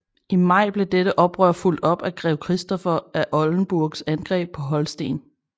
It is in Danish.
I maj blev dette oprør fulgt op af Grev Christoffer af Oldenburgs angreb på Holsten